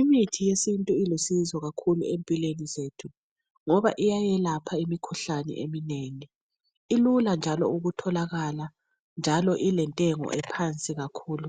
Imithi yesintu ilusizo kakhulu empilweni zethu ngoba iyayelapha imikhuhlane eminengi ilula njalo ukutholakala njalo ilentengo ephansi kakhulu